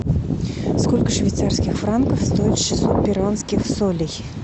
сколько швейцарских франков стоит шестьсот перуанских солей